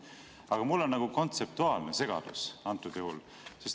Aga mul on kontseptuaalne segadus antud juhul.